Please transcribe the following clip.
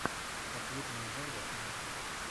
ответный удар восьмая часть